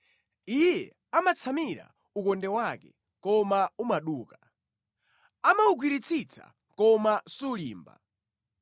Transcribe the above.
Iye amatsamira ukonde wake, koma umaduka; amawugwiritsitsa koma sulimba.